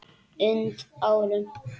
und árum.